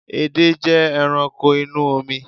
Edé jẹ́ ẹranko inú omi